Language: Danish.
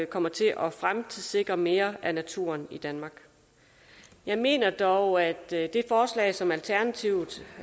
kommer til at fremtidssikre mere af naturen i danmark jeg mener dog at det forslag som alternativet